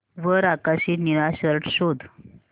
वर आकाशी निळा शर्ट शोध